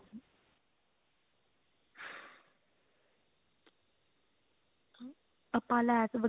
ਆਪਾਂ ਲੈਸ ਵਗੈਰਾ